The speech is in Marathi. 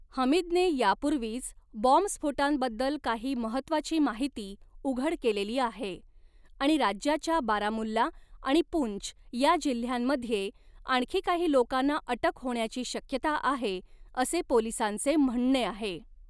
हमीदने यापूर्वीच बॉम्बस्फोटांबद्दल काही महत्त्वाची माहिती उघड केलेली आहे आणि राज्याच्या बारामुल्ला आणि पूंछ या जिल्ह्यांमध्ये आणखी काही लोकांना अटक होण्याची शक्यता आहे, असे पोलिसांचे म्हणणे आहे.